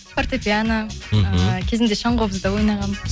фортепиано мхм кезінде шаңқобызда ойнағанмын